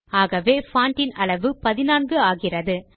ஆகவே பான்ட் இன் அளவு 14 ஆகிறது